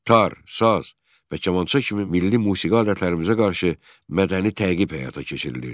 Tar, saz və kamança kimi milli musiqi alətlərimizə qarşı mədəni təqib həyata keçirilirdi.